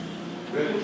Düşməyə.